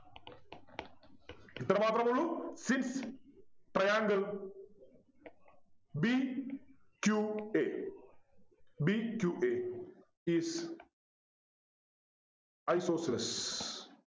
ഇത്രമാത്രമേ ഉള്ളു sincetriangle b q a b q a is isosceles